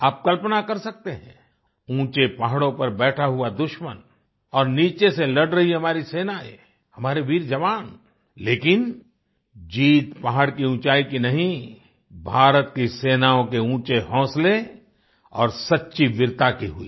आप कल्पना कर सकते हैं ऊचें पहाडों पर बैठा हुआ दुश्मन और नीचे से लड़ रही हमारी सेनाएँ हमारे वीर जवान लेकिन जीत पहाड़ की ऊँचाई की नहीं भारत की सेनाओं के ऊँचे हौंसले और सच्ची वीरता की हुई